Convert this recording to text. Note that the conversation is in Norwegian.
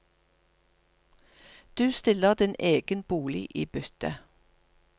Du stiller din egen bolig i bytte.